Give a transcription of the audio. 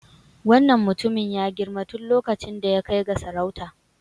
Wannan mutumin ya girma tun lokacin da ya kai ga sarauta.